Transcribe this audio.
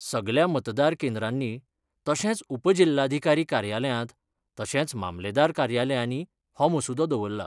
सगल्या मतदार केंद्रांनी तशेंच उपजिल्हाधीकारी कार्यालयांत तशेंच मामलेदार कार्यालयानी हो मसुदो दवरला.